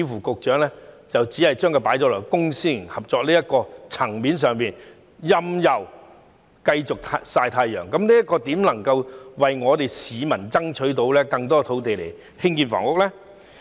局長似乎只把焦點放在公私營合作的層面上，任由土地繼續"曬太陽"，這樣如何能為市民爭取更多土地以興建房屋呢？